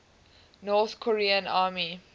north korean army